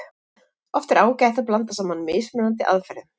Oft er ágætt að blanda saman mismunandi aðferðum.